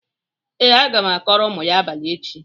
Ee, aga m akọrọ unu ya abalị echi.